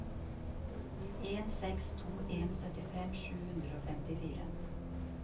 en seks to en syttifem sju hundre og femtifire